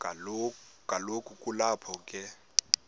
kaloku kulapho be